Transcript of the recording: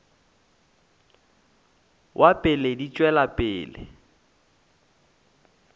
wa pele di tšwela pele